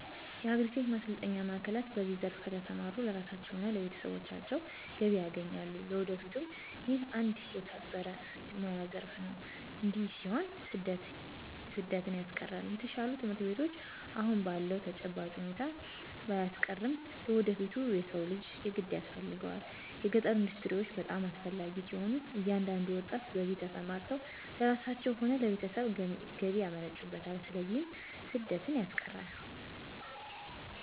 የአግሪ-ቴክ ማሰልጠኛ ማዕከላት በዚህ ዘርፍ ከተሰማሩ ለራሳቸዉም ሆነ ለቤተሰቦቻቸው ገቢ ያገኛሉ ለወደፊቱም ይህ አንድ የተከበረ የሞያ ዘረፍ ነው እዲህ ሲሆን ስደትን ያስቀራል።፣ የተሻሉ ትምህርት ቤቶች አሁን ባለዉ ተጨባጭ ሁኔታ ባያስቀርም ለወደፊቱ የሰው ልጅ የግድ ያስፈልገዋል። የገጠር ኢንዱስትሪዎች በጣም አስፈላጊ ሲሆኑ እያንዳንዱ ወጣት በዚህ ተሰማርተው ለራሳቸው ሆነ ለቤተሰብ ገቢ ያመነጩበታል ስለዚህ ስደትን ያስቀራል።